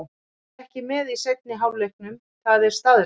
Við vorum ekki með í seinni hálfleiknum, það er staðreynd.